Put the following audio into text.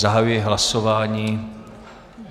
Zahajuji hlasování.